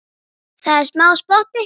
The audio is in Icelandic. Það er smá spotti.